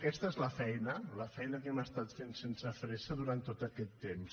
aquesta és la feina la feina que hem estat fent sense fressa durant tot aquest temps